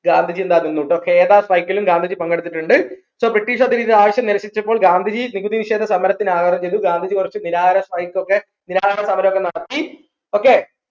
ഗാന്ധിജി എന്താ നിന്നു ട്ടോ ഖേദ strike ലും ഗാന്ധിജി പങ്കെടുത്തിട്ടുണ്ട് so british ആവശ്യം നിരസിച്ചപ്പോൾ ഗാന്ധിജി നികുതി വിശേദ സമരത്തിനാഹ്വാനം ചെയ്തു ഗാന്ധിജി കുറച് strike ഒക്കെ സമരം നടത്തി okay